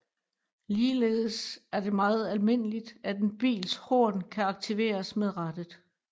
Ligeledes er det meget almindeligt at en bils horn kan aktiveres med rattet